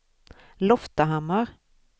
Loftahammar